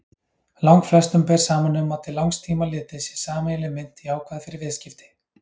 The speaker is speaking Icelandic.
Langflestum ber saman um að til langs tíma litið sé sameiginleg mynt jákvæð fyrir viðskipti.